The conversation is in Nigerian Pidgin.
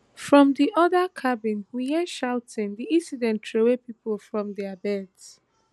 from di oda cabins we hear shouting di incident troway pipo from dia beds